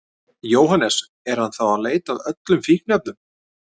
Jóhannes: Er hann þá að leita að öllum fíkniefnum?